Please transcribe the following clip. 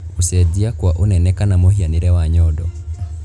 Gũcenjia kwa ũnene kana mũhianĩre wa nyondo